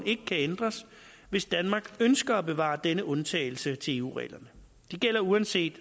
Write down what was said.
ikke kan ændres hvis danmark ønsker at bevare denne undtagelse til eu reglerne de gælder uanset